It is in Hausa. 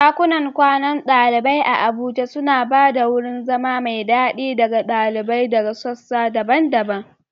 ɗakunan kwanan ɗalibai a UniAbuja suna ba da wurin zama mai daɗi ga ɗalibai daga sassa daban-daban.